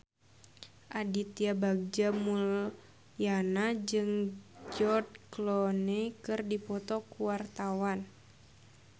Aditya Bagja Mulyana jeung George Clooney keur dipoto ku wartawan